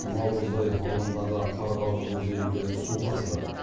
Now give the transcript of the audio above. наурызбай ауданындағы қарғалы өзенінде су тасыды